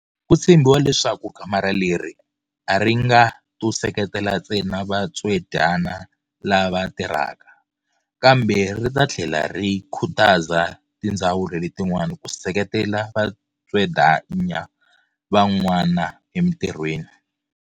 Ku tshembiwa leswaku kamara leri a ri nga to seketela ntsena vatswedyana lava tirhaka, kambe ri ta tlhela ri khutaza tindzawulo letin'wana ku seketela vatswedyana van'wana emitirhweni.